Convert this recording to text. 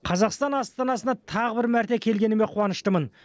қазақстан астанасына тағы бір мәрте келгеніме қуаныштымын